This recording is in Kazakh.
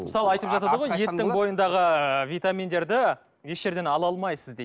мысалы айтып жатады ғой еттің бойындағы витаминдерді еш жерден ала алмайсыз дейді